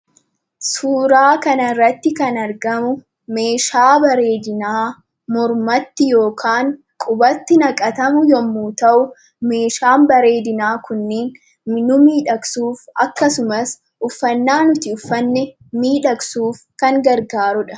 Suuraa kanarratti kan argamu meeshaa bareedinaa mormatti yookaan qubatti naqatamu yommuu ta'u, meeshaan bareedinaa kunniin nu miidhagsuuf akkasumas uffannaa nuti uffanne miidhagsuuf kan gargaarudha.